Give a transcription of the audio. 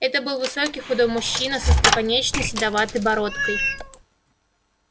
это был высокий худой мужчина с остроконечной седоватой бородкой